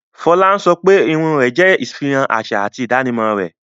Fola ń sọ pé irun rẹ̀ jẹ́ ìfihàn àṣà àti ìdánimọ̀ rẹ̀